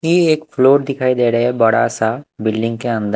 ये एक फ्लोर दिखाई दे रहा है बड़ा सा बिल्डिंग के अंद--